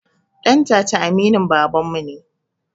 Ɗantata aminin babanmu ne